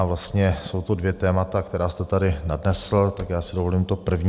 A vlastně jsou to dvě témata, která jste tady nadnesl, tak já si dovolím to první.